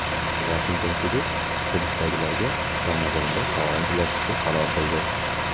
Vashington sudi hibsdagilarga Ramazonda taom ulashishga qaror qildi.